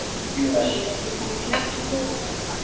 Ír, ég kom með fjörutíu og fjórar húfur!